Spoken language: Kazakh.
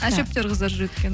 әжептеуір қыздар жүреді екен